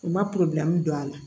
U ma don a la